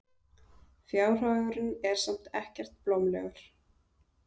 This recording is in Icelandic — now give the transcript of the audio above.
Fjárhagurinn er samt ekkert blómlegur.